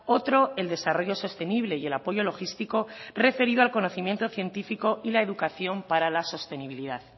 otro el desarrollo sostenible y el apoyo logístico referido al conocimiento científico y la educación para la sostenibilidad